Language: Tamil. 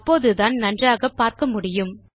அப்போதுதான் நன்றாக பார்க்க முடியும்